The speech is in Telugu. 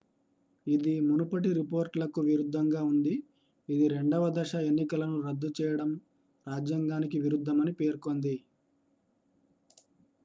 ఇది మునుపటి రిపోర్ట్లకు విరుద్ధంగా ఉంది ఇది రెండవ దశ ఎన్నికలను రద్దు చేయడం రాజ్యాంగానికి విరుద్ధమని పేర్కొంది